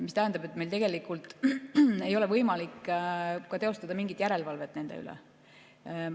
Mis tähendab, et meil ei ole võimalik teostada mingit järelevalvet nende üle.